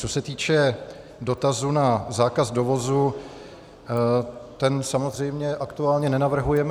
Co se týče dotazu na zákaz dovozu, ten samozřejmě aktuálně nenavrhujeme.